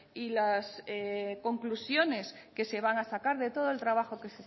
y las conclusiones que se van a sacar de todo el trabajo